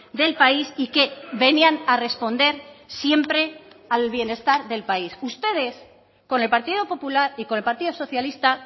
del país y que venían a responder siempre al bienestar del país ustedes con el partido popular y con el partido socialista